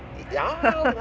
já